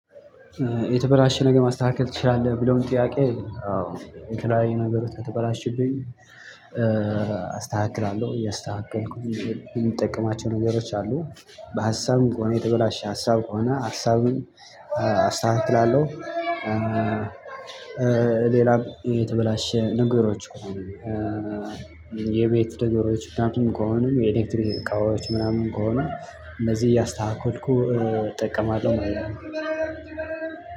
የተበላሸ ነገር ማስተካከል ትችላለህ ብለውም ጥያቄ? አዎ የተለያዮ ነገሮች ከተበላሸብኝ አስተካክላለሁ እያስተካከምኩኝ የምጠቅማቸው ነገሮች አሉ። በሀሳብ ከሆነ የተበላሸ ሀሳብ ከሆነ ሀሳብን አስተካክላለሁ። ሌላም የተበላሸ ነገሮች ከሆኑ። የቤት ነገሮች እንደውም ከሆነ የኤሌክትሪክ እቃዋች ምናምን ከሆኑ እንደዚህ እያስተካኮልኩ እጠቀማለሁ ማለት ነው።